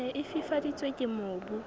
ne e fifaditswe ke mobu